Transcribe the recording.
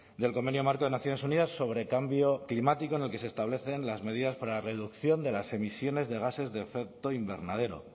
del convenio marco de naciones unidas sobre cambio climático en el que se establecen las medidas para la reducción de las emisiones de gases de efecto invernadero